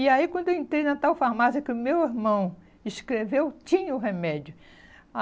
E aí quando eu entrei na tal farmácia que o meu irmão escreveu, tinha o remédio.